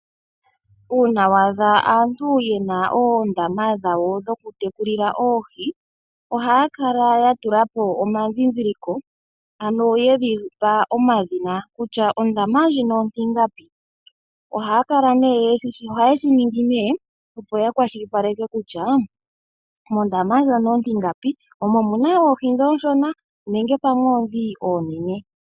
Uuna wa adha aantu yena oondama dhawo dhokutekulila oohi, ohaya kala ya tula po omadhidhiliko. Ano ye dhipa omadhina, kutya ondama ndjino ontingapi? Oha ye shi ningi opo ya kwashilipaleke kutya mondama ndjono ontingapi omo muna oohi dhi ooshona nenge pamwe oodhi oonene.